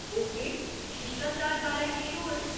Okay, शिश्टाचार बारै किश होर?